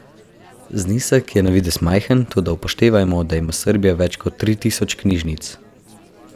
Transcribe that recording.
Znesek je na videz majhen, toda upoštevajmo, da ima Srbija več kot tri tisoč knjižnic.